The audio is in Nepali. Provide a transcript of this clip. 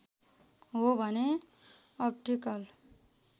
हो भने अप्टिकल